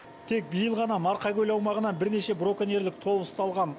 тек биыл ғана марқакөл аумағынан бірнеше браконьерлік топ ұсталған